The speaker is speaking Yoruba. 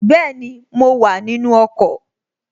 Bẹ́ẹ̀ni, mo wà nínu ọkọ̀